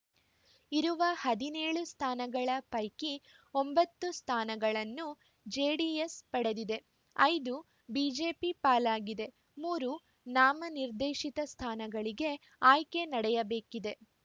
ಇರುವ ಹದಿನೇಳು ಸ್ಥಾನಗಳ ಪೈಕಿ ಒಂಬತ್ತು ಸ್ಥಾನಗಳನ್ನು ಜೆಡಿಎಸ್‌ ಪಡೆದಿದೆ ಐದು ಬಿಜೆಪಿ ಪಾಲಾಗಿದೆ ಮೂರು ನಾಮ ನಿರ್ದೇಶಿತ ಸ್ಥಾನಗಳಿಗೆ ಆಯ್ಕೆ ನಡೆಯಬೇಕಿದೆ